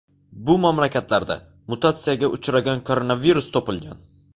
Bu mamlakatlarda mutatsiyaga uchragan koronavirus topilgan.